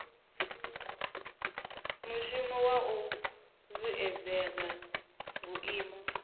mushumo wa u vhuedzedza vhuimo